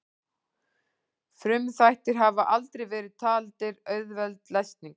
Frumþættir hafa aldrei verið taldir auðveld lesning.